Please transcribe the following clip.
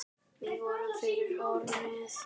Við fórum fyrir hornið.